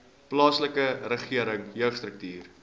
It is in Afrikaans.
plaaslike regering jeugstrukture